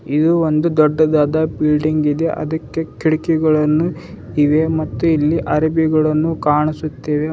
ಇದು ಒಂದು ದೊಡ್ಡದಾದ ಬಿಲ್ಡಿಂಗ್ ಇದೆ ಅದಕ್ಕೆ ಕಿಡಕಿಗಳನ್ನು ಇವೆ ಮತ್ತು ಇಲ್ಲಿ ಅರಬಿಗಳನ್ನು ಕಾಣಿಸುತ್ತಿವೆ.